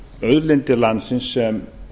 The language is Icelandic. auðlindir landsins sem